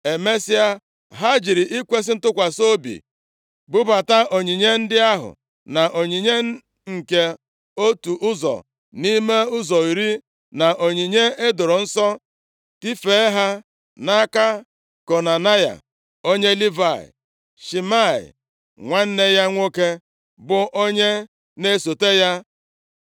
Emesịa, ha jiri ikwesi ntụkwasị obi bubata onyinye ndị ahụ, na onyinye nke otu ụzọ nʼime ụzọ iri, na onyinye e doro nsọ, tifee ha nʼaka Konanaya, onye Livayị. Shimei nwanne ya nwoke bụ onye na-esote ya.